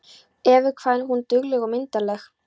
Evu, hvað hún dugleg og myndarleg.